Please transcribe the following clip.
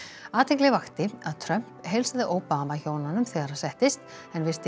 athygli vakti að Trump heilsaði Obama hjónunum þegar hann settist en virti